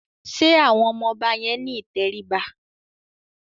Ṣé àwọn ọmọ yẹn ní ìtẹríba?